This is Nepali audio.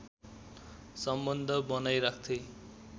सम्बन्ध बनाइराख्थे